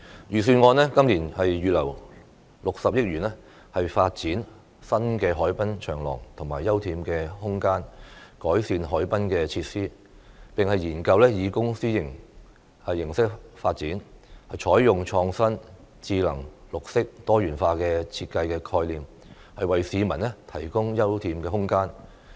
預算案今年預留60億元發展新的海濱長廊和休憩空間，改善海濱設施，並研究以公私營形式發展，採用創新、智能、綠色、多元化的設計概念，為市民提供休憩空間。